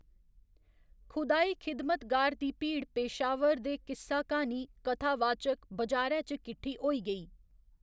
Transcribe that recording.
खुदाई खिदमतगार दी भीड़ पेशावर दे किस्सा क्हानी, कथावाचक, बजारै च किट्ठी होई गेई।